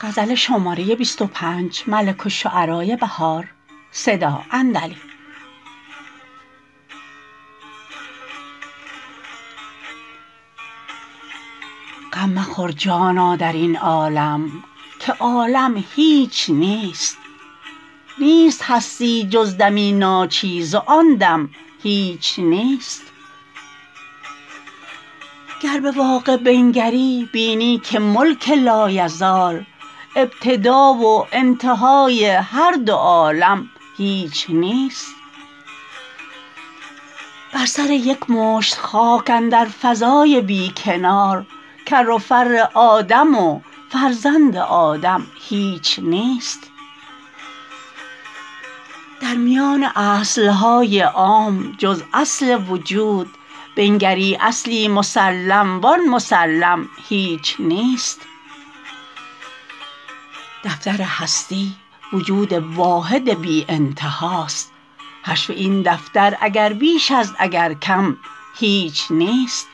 غم مخور جانا در این عالم که عالم هیچ نیست نیست هستی جز دمی ناچیز و آن دم هیچ نیست گر به واقع بنگری بینی که ملک لایزال ابتدا و انتهای هر دو عالم هیچ نیست بر سر یک مشت خاک اندر فضای بی کنار کر و فر آدم و فرزند آدم هیچ نیست در میان اصل های عام جز اصل وجود بنگری اصلی مسلم و آن مسلم هیچ نیست دفتر هستی وجود واحد بی انتها است حشو این دفتر اگر بیش است اگر کم هیچ نیست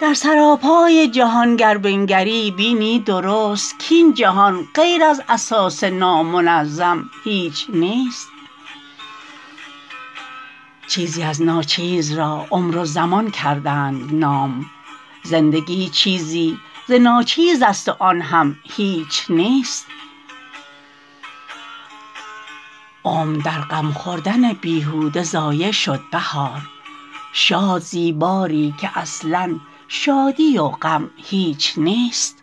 در سراپای جهان گر بنگری بینی درست کاین جهان غیر از اساس نامنظم هیچ نیست چیزی از ناچیز را عمر و زمان کردند نام زندگی چیزی ز ناچیز است و آن هم هیچ نیست عمر در غم خوردن بیهوده ضایع شد بهار شاد زی باری که اصلا شادی و غم هیچ نیست